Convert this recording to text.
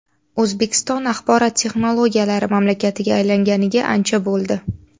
O‘zbekiston axborot texnologiyalari mamlakatiga aylanganiga ancha bo‘ldi.